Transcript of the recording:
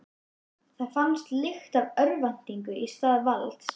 Það fannst lykt af örvæntingu í stað valds.